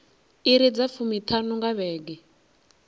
iri dza fumiṱhanu nga vhege